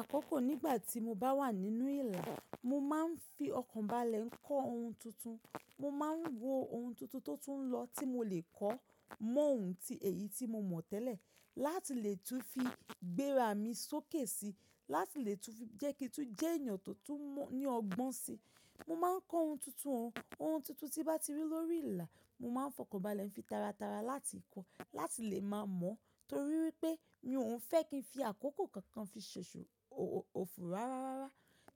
Àkọ́kọ́ nígbà tí mo bá wà nínú ìlà, mo máa ń fi ọkàn bá le ń kọ́ ohun tuntun. Mo ma ń wo ohun tuntun tó tún lọ tí mo lè kọ́ mọ́ ohun tí èyí tí mo mọ̀ tẹ́lẹ̀, láti lè tún fi gbéra mi sókè si, láti lè tún fi jẹ́ kí n tó jẹ́ ènìyàn tó tún mọ̀ ní ọgbọ́n si. Mo ma ń kọ́ ohun tuntun hun. Ohun tuntun tí bá ti rí lórí ìlà, mo ma ń fọkàn bá a le ń fi tara tara láti kọ́, láti lè máa mọ̀ torí pé mi òún fẹ́ kí n fi àkókò kankan fi ṣoṣo òfu rárá.